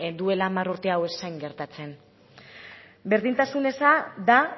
duela hamar urte hau ez zen gertatzen berdintasun eza da